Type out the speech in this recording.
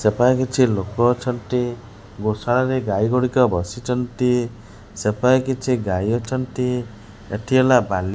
ସେପାଖେ କିଛି ଲୋକ ଅଛନ୍ତି। ଗୋଶାଳାରେ ଗାଈଗୁଡିକ ବସିଛନ୍ତି। ସେପାଖେ କିଛି ଗାଈ ଅଛନ୍ତି। ଏଠି ହେଲା ବାଲି ---